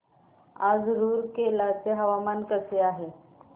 आज रूरकेला चे हवामान कसे आहे